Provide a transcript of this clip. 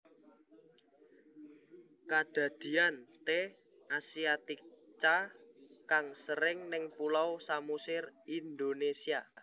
Kadadian T asiatica kang sering ning Pulau Samosir Indonésia